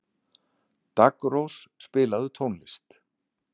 Daggrós, spilaðu tónlist.